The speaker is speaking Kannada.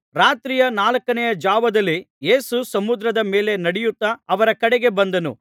ರಾತ್ರಿಯ ನಾಲ್ಕನೆಯ ಜಾವದಲ್ಲಿ ಯೇಸು ಸಮುದ್ರದ ಮೇಲೆ ನಡೆಯುತ್ತಾ ಅವರ ಕಡೆಗೆ ಬಂದನು